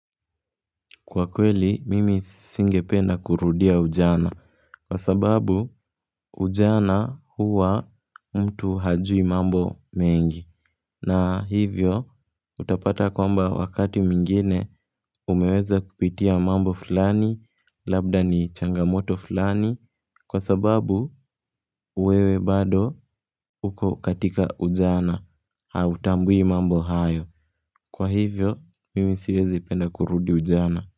Kwa kweli mimi singependa kurudia ujana kwa sababu ujana huwa mtu hajui mambo mengi na hivyo utapata kwamba wakati mwingine umeweza kupitia mambo fulani labda ni changamoto fulani kwa sababu wewe bado uko katika ujana hautambui mambo hayo kwa hivyo mimi siwezi penda kurudi ujana.